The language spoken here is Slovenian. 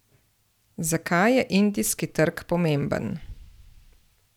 Zakaj je indijski trg pomemben?